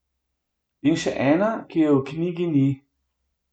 In še ena, ki je v knjigi ni.